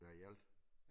Ja i alt